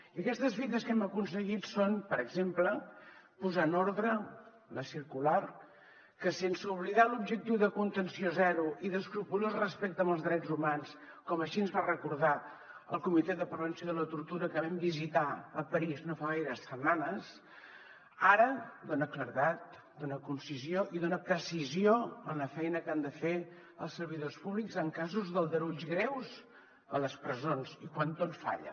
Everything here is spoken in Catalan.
i aquestes fites que hem aconseguit són per exemple posar en ordre la circular que sense oblidar l’objectiu de contenció zero i d’escrupolós respecte als drets humans com així ens va recordar el comitè de prevenció de la tortura que vam visitar a parís no fa gaires setmanes ara dona claredat dona concisió i dona precisió a la feina que han de fer els servidors públics en casos d’aldarulls greus a les presons i quan tot falla